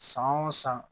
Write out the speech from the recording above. San o san